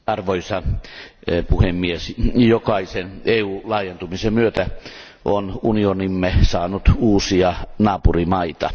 Arvoisa puhemies, jokaisen EU laajentumisen myötä on unionimme saanut uusia naapurimaita.